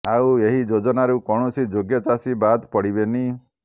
ଆଉ ଏହି ଯୋଜନାରୁ କୌଣସି ଯୋଗ୍ୟ ଚାଷୀ ବାଦ୍ ପଡ଼ିବେନି